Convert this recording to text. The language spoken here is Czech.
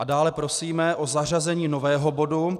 A dále prosíme o zařazení nového bodu.